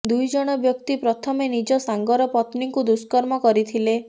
ଦୁଇ ଜଣ ବ୍ୟକ୍ତି ପ୍ରଥମେ ନିଜ ସାଙ୍ଗର ପତ୍ନୀଙ୍କୁ ଦୁଷ୍କର୍ମ କରିଥିଲେ